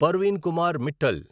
Parveen Kumar Mittal